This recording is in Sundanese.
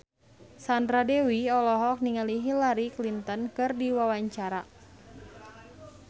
Sandra Dewi olohok ningali Hillary Clinton keur diwawancara